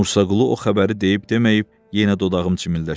Mursaqulu o xəbəri deyib deməyib, yenə dodağım çimildəşir.